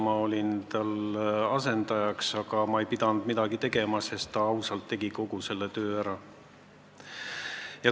Ma olin tema asendaja, aga ma ei pidanud midagi tegema: ausalt, ta tegi kogu selle töö ära.